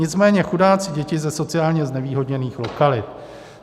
Nicméně chudáci děti ze sociálně znevýhodněných lokalit.